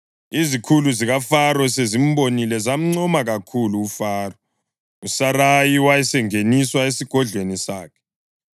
Izikhulu zikaFaro sezimbonile zamncoma kakhulu kuFaro, uSarayi wasengeniswa esigodlweni sakhe.